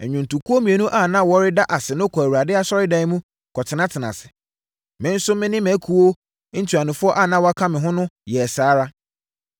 Nnwontokuo mmienu a na wɔreda ase no kɔɔ Awurade Asɔredan mu kɔtenatenaa ase. Me nso me ne akuo ntuanofoɔ a na wɔka me ho no yɛɛ saa ara.